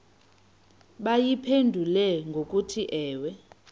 bayiphendule ngokuthi ewe